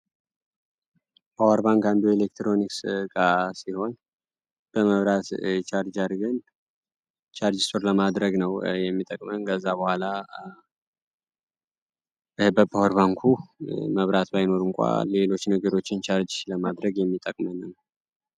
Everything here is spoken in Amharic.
ፓወርባንክ አንዱ ኤሌክትሮኒክስ ጋር ሲሆን በመብራት ቻርጃር ግን ቻርጅሶር ለማድረግ ነው የሚጠቅመን ገዛ በኋላ በፓወርባንኩ መብራት በይኖር እንኳ ሌሎች ንግሮችን ቻርጅ ለማድረግ የሚጠቅመንም